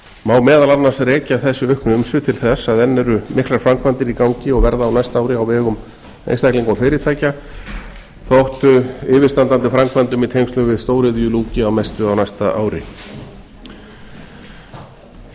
má meðal annars rekja þessi auknu umsvif til þess að enn eru miklar framkvæmir í gangi og verða á næsta ári á vegum einstaklinga og fyrirtækja þótt yfirstandandi framkvæmdum í tengslum við stóriðju ljúki að mestu á næsta ári